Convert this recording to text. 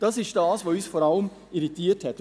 – Das ist das, was uns vor allem irritiert hat.